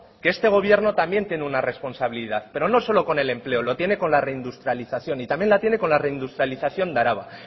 que este gobierno también tiene una responsabilidad pero no solo con el empleo lo tiene con la reindustrialización y también la tiene con la reindustrialización de araba